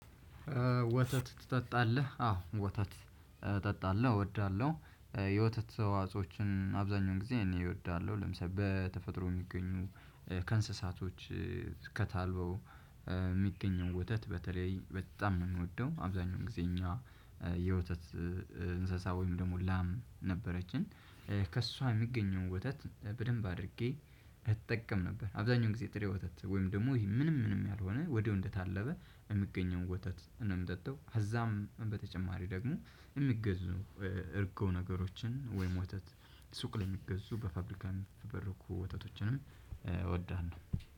ወተት ትጠጣለህ አዎ ወተት እጠጣለሁ እወዳለሁ። የወተት ተዋጽኦችን አብዛኛው ጊዜ እኔ እወዳለሁ ለምሳሌ በተፈጥሮ የሚገኙ ከእንስሳቶች ከታልበው የሚገኘው ወተት በተለይ በጣም ነው የምወደው። አብዛኛው ጊዜ እኛ የወተት እንስሳ ወይም ደግሞ ላም ነበረችን ከእሷ የሚገኘውን ወተት በደንብ አድርጌ እጠቀም ነበር። አብዛኛው ጊዜ ጥሬ ወተት ወይም ደግሞ ይሄ ምንም ምንም ያልሆነ ወዲያው እንደታለበ የምገኘውን ወተት ነው የምጠጣው። ከዛም በተጨማሪ ደግሞ የሚገዙ እርጎ ነገሮችን ወይም ወተት ሱቅ ላይ የሚገዙ በፋብሪካ የሚፈበረኩ ወተቶችንም እወዳለሁ።